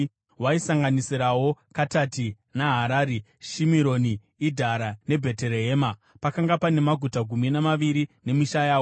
Waisanganisirawo Katati, Naharari, Shimironi, Idhara neBheterehema. Pakanga pane maguta gumi namaviri nemisha yawo.